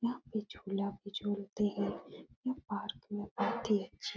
यहाँ पे झूला भी झूलते हैं। यह पार्क में बहुत ही अच्छी --